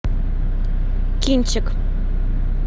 кинчик